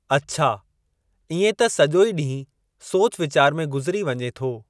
अच्छा, इएं त सॼो ई ॾींहुं सोच वीचार में गुज़री वञे थो।